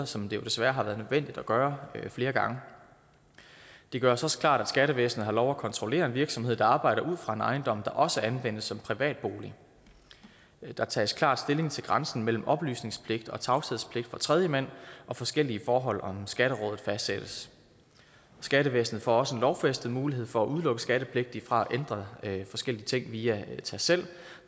som det jo desværre har været nødvendigt at gøre flere gange det gøres også klart at skattevæsenet har lov at kontrollere en virksomhed der arbejder ud fra en ejendom der også anvendes som privat bolig der tages klart stilling til grænsen mellem oplysningspligt og tavshedspligt for tredjemand og forskellige forhold om skatterådet fastsættes skattevæsenet får også en lovfæstet mulighed for at udelukke skattepligtige fra at ændre forskellige ting via tast selv